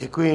Děkuji.